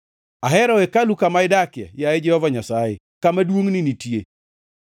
Ahero hekalu kama idakie, yaye Jehova Nyasaye, kama duongʼni nitie.